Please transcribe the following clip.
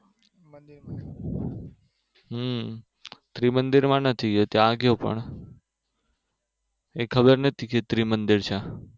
હમ ત્રિમંદિરમાં નથી ગયો પણ e ખબર નતી કે એ ત્રિમંદિર છે